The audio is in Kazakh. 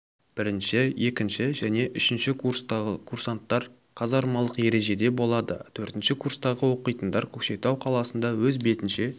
бірінші екінші және үшінші курстағы курсанттар казармалық ережеде болады төртінші курстағы оқитындар көкшетау қаласында өз бетінше